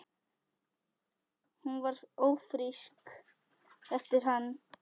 Hún varð ófrísk eftir hann.